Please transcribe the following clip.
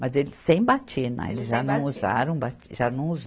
Mas ele sem batina, eles já não usaram bati, já não usa